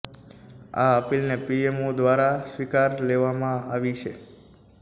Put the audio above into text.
આ અપીલને પીએમઓ દ્વારા સ્વીકારી લેવામાં આવી છે